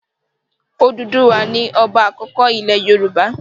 Òdùduwà ni ọba àkọ́kọ́ ilẹ̀ Yorùbá.